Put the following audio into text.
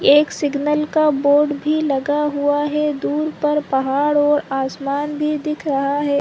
एक सिगनल का बोर्ड भी लगा हुआ है दूर पर पहाड़ और आसमान भी दिख रहा है।